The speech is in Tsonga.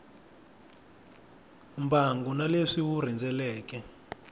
mbangu na leswi wu rhendzeleke